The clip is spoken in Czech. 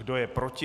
Kdo je proti?